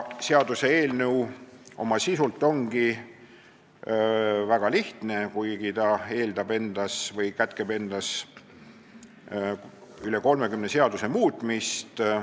Seaduseelnõu oma sisult ongi väga lihtne, kuigi ta kätkeb üle 30 seaduse muutmist.